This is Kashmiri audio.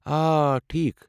آہ! ٹھیک ۔